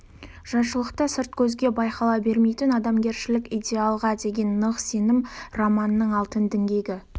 жайшылықта сырт көзге байқала бермейтін адамгершілік идеалға деген нық сенім-романның алтын діңгегі